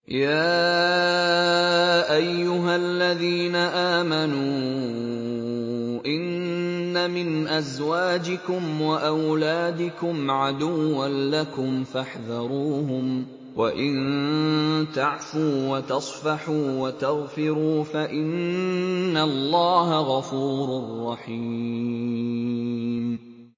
يَا أَيُّهَا الَّذِينَ آمَنُوا إِنَّ مِنْ أَزْوَاجِكُمْ وَأَوْلَادِكُمْ عَدُوًّا لَّكُمْ فَاحْذَرُوهُمْ ۚ وَإِن تَعْفُوا وَتَصْفَحُوا وَتَغْفِرُوا فَإِنَّ اللَّهَ غَفُورٌ رَّحِيمٌ